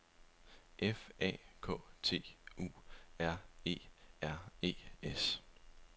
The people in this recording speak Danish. F A K T U R E R E S